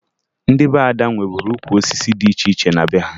Ndị be Ada nweburu ukwu osisi dị iche iche na be ha